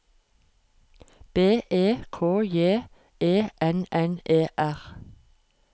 B E K J E N N E R